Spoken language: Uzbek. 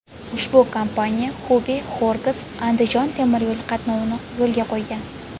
Ushbu kompaniya Xubey–Xorgas–Andijon temir yo‘li qatnovini yo‘lga qo‘ygan.